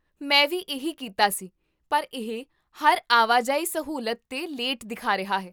ਮੈਂ ਵੀ ਇਹੀ ਕੀਤਾ ਸੀ, ਪਰ ਇਹ ਹਰ ਆਵਾਜਾਈ ਸਹੂਲਤ 'ਤੇ ਲੇਟ ਦਿਖਾ ਰਿਹਾ ਹੈ